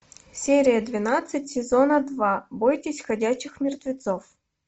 серия двенадцать сезона два бойтесь ходячих мертвецов